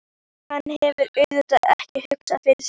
Hann hefur auðvitað ekki hugsað fyrir því?